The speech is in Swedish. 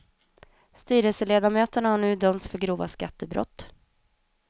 Styrelseledamöterna har nu dömts för grova skattebrott.